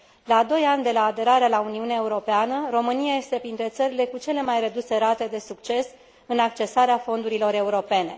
La doi ani de la aderarea la Uniunea Europeană, România este printre țările cu cele mai reduse rate de succes în accesarea fondurilor europene.